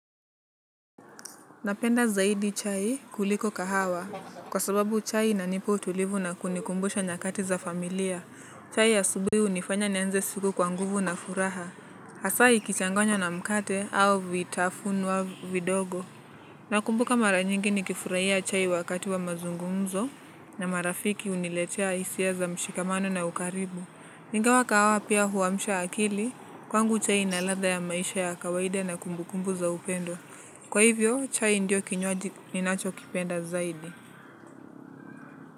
Napenda zaidi chai kuliko kahawa kwa sababu chai inanipa utulivu na kunikumbusha nyakati za familia. Chai ya asubuhi unifanya nianze siku kwanguvu na furaha. Hasaa ikichanganywa na mkate au vitafunwa vidogo. Nakumbuka marajingi nikifurahia chai wakati wa mazungumzo na marafiki uniletea hisia za mshikamano na ukaribu. Ingawa kahawa pia huamsha akili kwangu chai inaladha ya maisha ya kawaida na kumbukumbu za upendo. Kwa hivyo, chai ndiyo kinywaji ninacho kipenda zaidi.